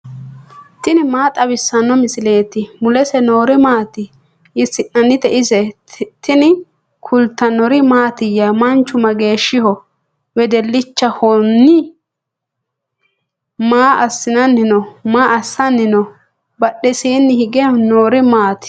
tini maa xawissanno misileeti ? mulese noori maati ? hiissinannite ise ? tini kultannori mattiya? Manchu mageeshshiho? Wedelichohonni? maa assanni noo? badheesiinni hige noori maatti?